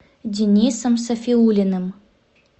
денисом сафиуллиным